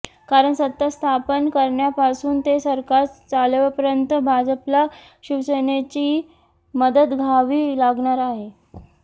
कारण सत्ता स्थापन करण्यापासून ते सरकार चालवपर्यंत भाजपला शिवसनेनेची मदत घावी लागणार आहे